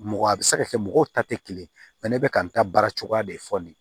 Mɔgɔ a bɛ se ka kɛ mɔgɔw ta tɛ kelen ye ne bɛka n ta baara cogoya de fɔ nin ye